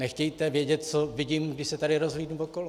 Nechtějte vědět, co vidím, když se tady rozhlédnu okolo.